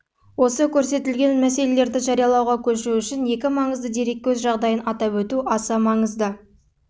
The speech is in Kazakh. осы көрсетілген мәселелерді жариялауға көшу үшін екі маңызды дереккөз жағдайын атап өту аса маңызды